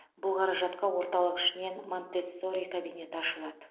бұл қаражатқа орталық ішінен монтессори кабинеті ашылады